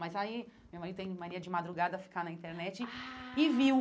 Mas aí, meu marido tem mania de madrugada a ficar na internet ah e viu.